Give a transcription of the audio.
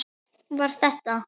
Var þetta?